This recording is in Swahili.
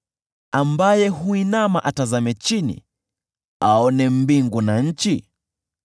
ambaye huinama atazame chini aone mbingu na nchi?